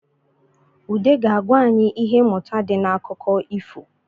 Ụde ga-agwa anyị ihe mmụta di n’akụkọ ifo